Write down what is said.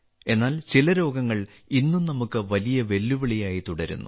എന്നാൽ ചില രോഗങ്ങൾ ഇന്നും നമുക്ക് വലിയ വെല്ലുവിളിയായി തുടരുന്നു